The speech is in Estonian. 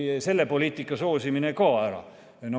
Selle poliitika soosimine lõpetati ka ära.